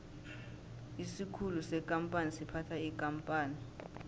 isikhulu sekampani siphatha ikampani